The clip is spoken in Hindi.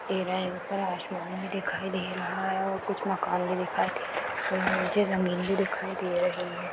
ऊपर आसमान भी दिखाई दे रहा हैं और कुछ मकान भी दिखाई दे रहा हैं नीचे जमीन भी दिखाई दे रही हैं।